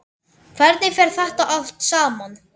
Hvernig fer þetta allt saman?